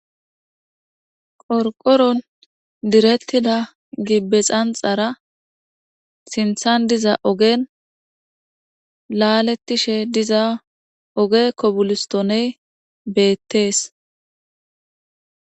qorqoron direttida gibbe xanxara sinthan diza ogen laalettishe diza oge kobolistoney beettees